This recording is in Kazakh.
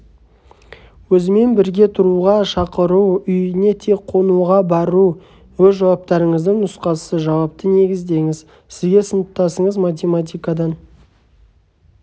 өзімен бірге тұруға шақыру үйіне тек қонуға бару өз жауаптарыңыздың нұсқасы жауапты негіздеңіз сізге сыныптасыңыз математикадан